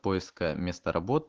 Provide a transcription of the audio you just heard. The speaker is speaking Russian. поиск э места работ